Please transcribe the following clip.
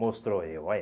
Mostrou eu, olha.